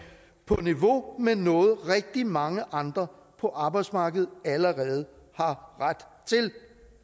på niveau med noget rigtig mange andre på arbejdsmarkedet allerede har ret til